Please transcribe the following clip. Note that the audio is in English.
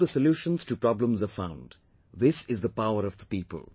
Look how the solutions to problems are found, this is the power of the people